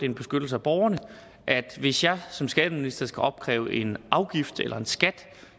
en beskyttelse af borgerne at hvis jeg som skatteminister skal opkræve en afgift eller en skat